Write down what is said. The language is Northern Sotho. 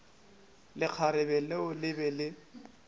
lekgarebe leo le be le